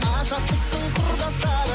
азаттықтың құрдастары